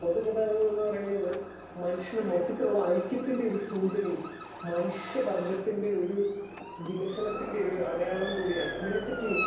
Speaker 2 പൊതുഗതാഗതം എന്ന് പറയുന്നത് മനുഷ്യന് മൊത്തത്തിലുള്ള ഐക്യത്തിൻ്റെയൊരു സൂചനയും മനുഷ്യവർഗ്ഗത്തിൻ്റെയൊരു വികസനത്തിൻ്റെയൊര് അടയാളവും കൂടി ആണ്. ഇതിനെപ്പറ്റി